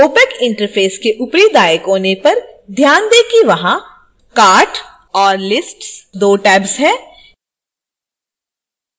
opac interface के ऊपरी दाईं कोने पर ध्यान दें कि वहाँ cart और lists दो tabs हैं